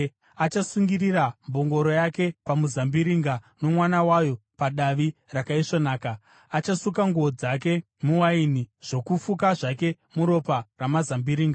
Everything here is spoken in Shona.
Achasungirira mbongoro yake pamuzambiringa, nomwana wayo padavi rakaisvonaka; achasuka nguo dzake muwaini, zvokufuka zvake muropa ramazambiringa.